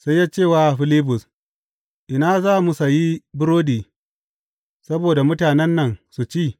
sai ya ce wa Filibus, Ina za mu sayi burodi saboda mutanen nan su ci?